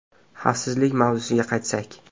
Xavfsizlik mavzusiga qaytsak.